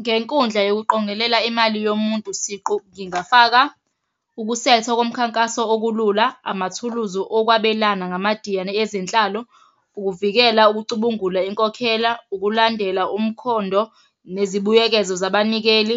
Ngenkundla yokuqongelela imali yomuntu siqu, ngingafaka ukusetha komkhankaso okulula, amathuluzi okwabelana ngamadiyane ezenhlalo, ukuvikela ukucubungula inkokhela, ukulandela umkhondo, nezibuyekezo zabanikeli,